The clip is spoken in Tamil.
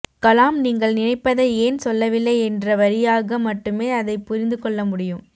கலாம் நீங்கள் நினைப்பதை ஏன் சொல்லவில்லை என்ற வரியாக மட்டுமே அதைப்புரிந்துகொள்ளமுடியும்